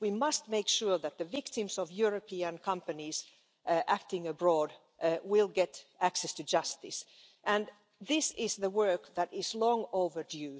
We must make sure that the victims of European companies acting abroad will get access to justice, and this is work that is long overdue.